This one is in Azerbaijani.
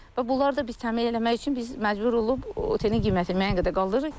Və bunlar da biz təmin eləmək üçün biz məcbur olub otelin qiymətini müəyyən qədər qaldırırıq.